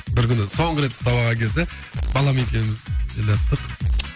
бір күні соңғы рет ұстап алған кезде балам екеуміз келаттық